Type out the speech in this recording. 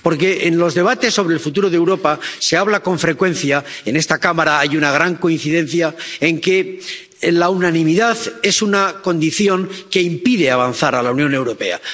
Porque, en los debates sobre el futuro de Europa, se habla con frecuencia —en esta Cámara hay una gran coincidencia al respecto— de que la unanimidad es una condición que impide avanzar a la Unión Europea.